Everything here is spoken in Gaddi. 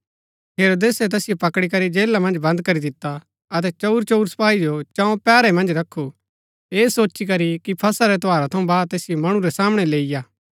हेरोदेसै तैसिओ पकड़ी करी जेला मन्ज बन्द करी दिता अतै चऊरचऊर सपाई जो चौं पैहरै मन्ज रखु ऐह सोची करी कि फसह रै त्यौहार थऊँ बाद तैसिओ मणु रै सामणै लैईआ